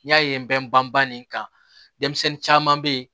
N'i y'a ye n bɛ banba nin kan denmisɛnnin caman bɛ ye